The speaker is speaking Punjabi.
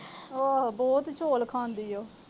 ਆਹੋ, ਬਹੁਤ ਚੌਲ ਖਾਂਦੀ ਆ ਉਹ।